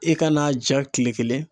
I ka n'a ja tile kelen